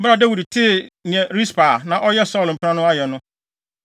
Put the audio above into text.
Bere a Dawid tee nea Rispa a na ɔyɛ Saulo mpena no ayɛ no,